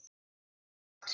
Jafnast það út?